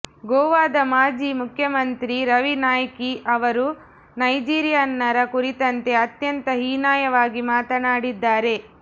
ಗೋವಾದ ಮಾಜಿ ಮುಖ್ಯಮಂತ್ರಿ ರವಿ ನಾಯ್ಕಿ ಅವರು ನೈಜೀರಿಯನ್ನರ ಕುರಿತಂತೆ ಅತ್ಯಂತ ಹೀನಾಯವಾಗಿ ಮಾತನಾಡಿದ್ದಾರೆ